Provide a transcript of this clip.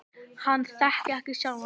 Hann þekki ekki sjálfan sig.